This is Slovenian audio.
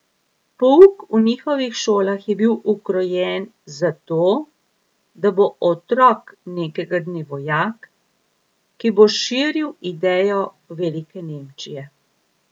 Pouk v njihovih šolah je bil ukrojen za to, da bo otrok nekega dne vojak, ki bo širil idejo velike Nemčije.